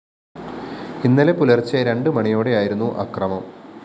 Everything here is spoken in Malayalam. ഇന്നലെ പുലര്‍ച്ചെ രണ്ടു മണിയോടെയായിരുന്നു അക്രമം